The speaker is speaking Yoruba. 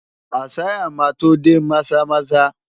Isiah máa tó dé Maza-Maza.